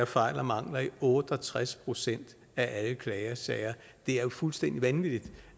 fejl og mangler i otte og tres procent af alle klagesager det er jo fuldstændig vanvittigt